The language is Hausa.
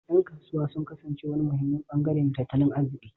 Yan kasuwa sun kasance wani muhimmin bangare na tattalin arziki